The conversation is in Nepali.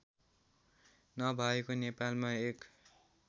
नभएको नेपालमा एक